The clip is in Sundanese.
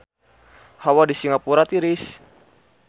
Hawa di Singapura tiris